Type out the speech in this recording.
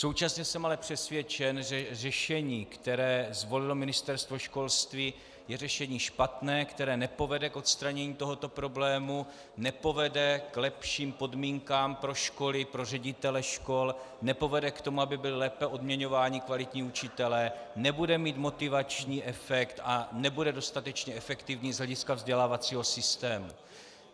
Současně jsem ale přesvědčen, že řešení, které zvolilo Ministerstvo školství, je řešení špatné, které nepovede k odstranění tohoto problému, nepovede k lepším podmínkám pro školy, pro ředitele škol, nepovede k tomu, aby byli lépe odměňováni kvalitní učitelé, nebude mít motivační efekt a nebude dostatečně efektivní z hlediska vzdělávacího systému.